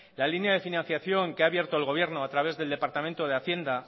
la línea de financiación que abierto el gobierno a través del departamento de hacienda